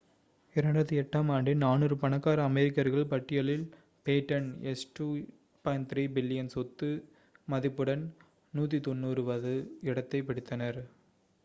2008ஆம் ஆண்டின் 400 பணக்கார அமெரிக்கர்கள் பட்டியலில் பேட்டன் $2.3 பில்லியன் சொத்து மதிப்புடன் 190வது இடத்தைப் பிடித்தார்